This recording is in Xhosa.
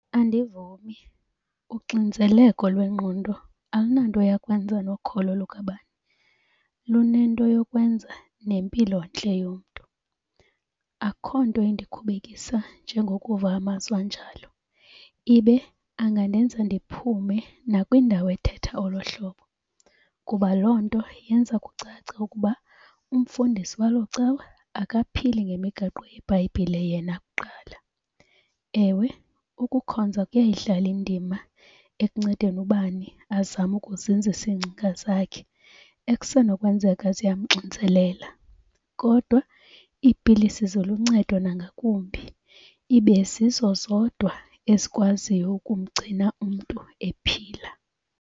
Andivumi. Uxinzeleko lwengqondo alunanto yakwenza nokholo lukabani, lunento yokwenza nempilontle yomntu. Akho nto endikhubekisa njengokuva amazwi anjalo ibe angandenza ndiphume nakwindawo ethetha olo hlobo kuba loo nto yenza kucace ukuba umfundisi waloo cawa akaphili ngemigaqo yeBhayibhile yena kuqala. Ewe, ukukhonza kuyayidlala indima ekuncedeni ubani azame ukuzinzisa iingcinga zakhe ekusenokwenzeka ziyamxinzelela kodwa iipilisi ziluncedo nangakumbi. Ibe zizo zodwa ezikwaziyo ukumgcina umntu ephila.